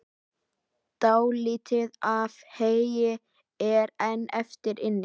Dálítið af heyi er enn eftir inni.